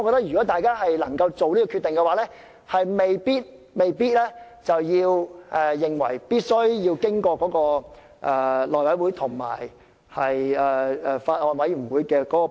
如果大家能夠作出決定，便未必一定要交付內務委員會和法案委員會處理。